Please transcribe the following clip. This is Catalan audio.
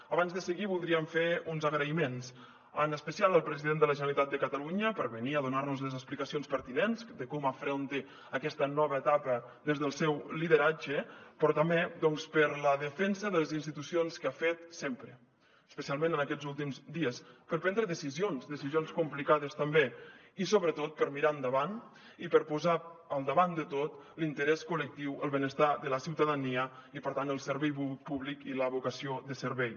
abans de seguir voldríem fer uns agraïments en especial al president de la generalitat de catalunya per venir a donar nos les explicacions pertinents de com afronta aquesta nova etapa des del seu lideratge però també doncs per la defensa de les institucions que ha fet sempre especialment en aquests últims dies per prendre decisions decisions complicades també i sobretot per mirar endavant i per posar al davant de tot l’interès col·lectiu el benestar de la ciutadania i per tant el servei públic i la vocació de servei